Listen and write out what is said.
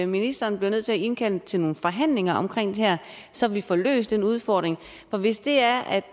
ministeren bliver nødt til at indkalde til nogle forhandlinger omkring det her så vi får løst den udfordring for hvis det er